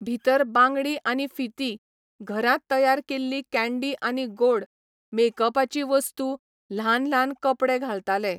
भितर बांगडी आनी फिती, घरांत तयार केल्लीं कँडी आनी गोड, मेकअपाचीं वस्तू, ल्हान ल्हान कपडे घालताले.